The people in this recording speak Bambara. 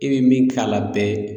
I be min k'a la bɛɛ